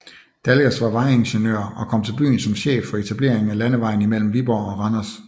Dalgas var vejingeniør og kom til byen som chef for etableringen af landevejen imellem Viborg og Randers